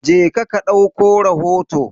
Je ka ka dauko rahoto.